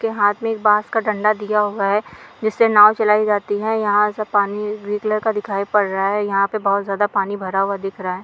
के हाथ में एक बांस का डंडा दिया हुआ है जिससे नाव चलाई जाती है यहां से पानी ब्लू कलर का दिखाई पड़ रहा है यहाँ पे बहोत ज्यादा पानी भरा हुआ दिख रहा है।